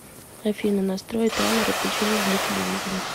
афина настрой таймер отключения для телевизора